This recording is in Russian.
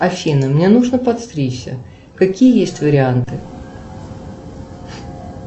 афина мне нужно подстричься какие есть варианты